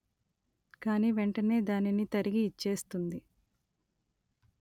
కాని వెంటనే దానిని తరిగి ఇచ్చేస్తుంది